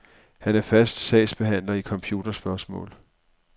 Han er fast sagsbehandler i computerspørgsmål.